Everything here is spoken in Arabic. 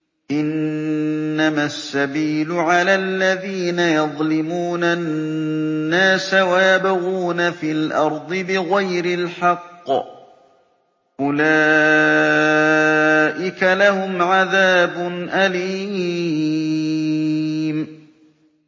إِنَّمَا السَّبِيلُ عَلَى الَّذِينَ يَظْلِمُونَ النَّاسَ وَيَبْغُونَ فِي الْأَرْضِ بِغَيْرِ الْحَقِّ ۚ أُولَٰئِكَ لَهُمْ عَذَابٌ أَلِيمٌ